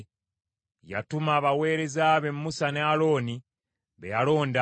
Yatuma abaweereza be Musa ne Alooni, be yalonda.